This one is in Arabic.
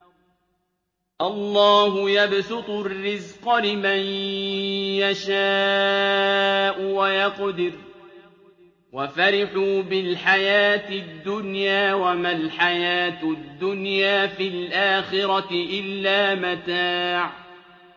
اللَّهُ يَبْسُطُ الرِّزْقَ لِمَن يَشَاءُ وَيَقْدِرُ ۚ وَفَرِحُوا بِالْحَيَاةِ الدُّنْيَا وَمَا الْحَيَاةُ الدُّنْيَا فِي الْآخِرَةِ إِلَّا مَتَاعٌ